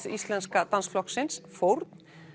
Íslenska dansflokksins fórn